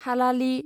हालालि